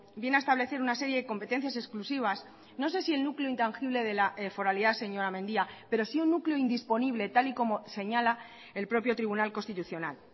viene a establecer una serie de competencias exclusivas no sé si el núcleo intangible de la foralidad señora mendia pero sí un núcleo indisponible tal y como señala el propio tribunal constitucional